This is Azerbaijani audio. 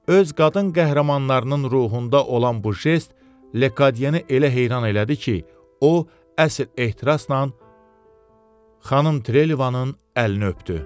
Öz qadın qəhrəmanlarının ruhunda olan bu jest Lekadiyeni elə heyran elədi ki, o əsl ehtirasla xanım Trelevanın əlini öpdü.